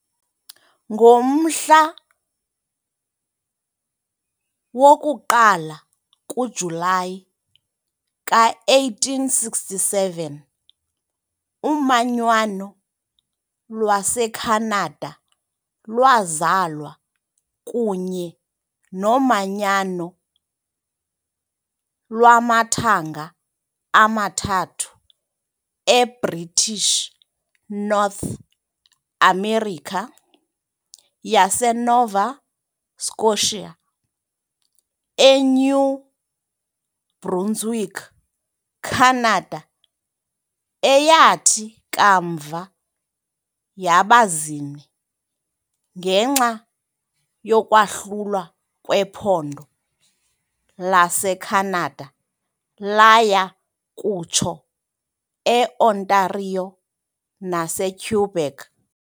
Ngomhla woku-1 kuJulayi ka-1867, umanyano lwaseKhanada lwazalwa kunye nomanyano lwamathanga amathathu eBritish North America yaseNova Scotia, eNew Brunswick naseCanada , eyathi kamva yaba zine ngenxa yokwahlulwa kwephondo laseCanada laya kutsho eOntario naseQuebec.